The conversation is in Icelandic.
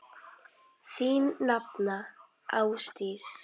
Þín nafna, Ásdís.